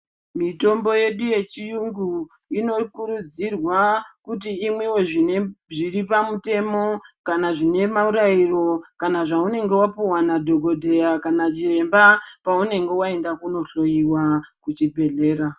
Mitombo yedu yechiyungu inokurudzirwa kuti imwiwe zvine zviri pamutemo kana zvine marairo kana zvaunenge wapuwa nadhokodheya kana chiremba paunenge waenda kunohloiwa kuchibhedhlera.